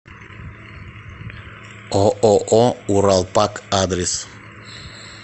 ооо уралпак адрес